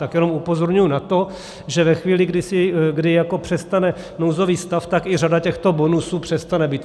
Tak jenom upozorňuji na to, že ve chvíli, kdy přestane nouzový stav, tak i řada těchto bonusů přestane být.